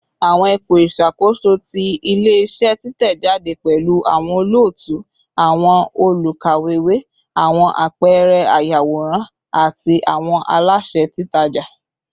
Awọn ipo iṣakoso ti ile-iṣẹ titẹjade pẹlu awọn olootu, awọn olukawewe, awọn apẹẹrẹ ayaworan, ati awọn alaṣẹ titaja